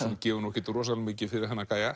gefur ekkert rosalega mikið fyrir þennan